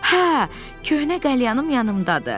Hə, köhnə qəlyanım yanımdadır.